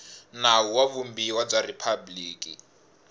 nawu wa vumbiwa bya riphabliki